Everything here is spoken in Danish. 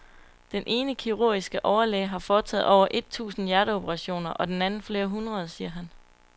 Den ene kirurgiske overlæge har foretaget over et tusind hjerteoperationer og den anden flere hundrede, siger han.